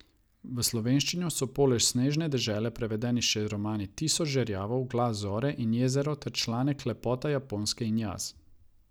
V slovenščino so poleg Snežne dežele prevedena še romani Tisoč žerjavov, Glas gore in Jezero ter članek Lepota Japonske in jaz.